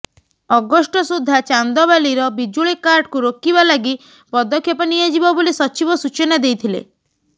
August ସୁଦ୍ଧା ଚାନ୍ଦବାଲିର ବିଜୁଳି କାଟକୁ ରୋକିବା ଲାଗି ପଦକ୍ଷେପ ନିଆଯିବ ବୋଲି ସଚିବ ସୂଚନା ଦେଇଥିଲେ